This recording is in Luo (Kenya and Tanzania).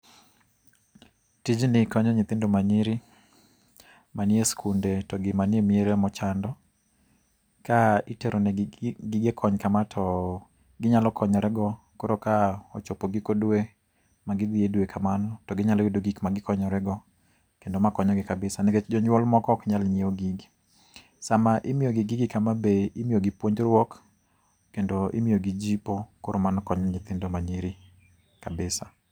Tijni konyo nyithindo manyiri, manie skunde to gi manie miere mochando. Ka itero negi gi gige kony kama to, ginyalo konyore go. Koro ka ochopo giko dwe, magi dhi e dwe kamano, to ginyalo yudo gik magikonyore go, kendo makonyo gi kabisa nikech jonyuol moko ok nyal nyiew gigi. Sama imiyo gi gigi kama be imiyo gi puonjruok, kendo imiyo gi jipo. Koro mano konyo nyithindo manyiri kabisa